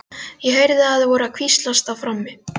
Ég heyrði að þau voru að hvíslast á frammi.